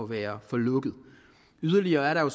være for lukket yderligere er der jo